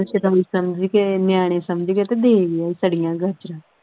ਸ਼ਦਾਈ ਸਮਝ ਕੇ ਨਿਆਣੇ ਸਮਝ ਕਿ ਤੇ ਦੇ ਗਿਆ ਸੜੀਆਂ ਗਾਜਰਾਂ।